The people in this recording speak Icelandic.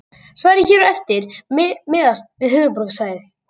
Svarið hér á eftir miðast við höfuðborgarsvæðið.